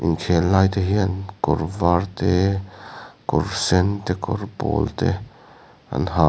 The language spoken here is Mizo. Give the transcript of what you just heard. inkhel lai te hian kawr var te kawr sen te kawr pawl te an ha--